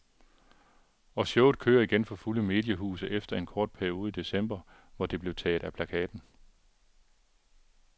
Og showet kører igen for fulde mediehuse efter en kort periode i december, hvor det blev taget af plakaten.